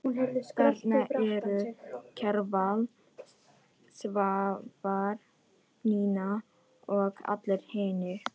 Þarna eru Kjarval, Svavar, Nína og allir hinir.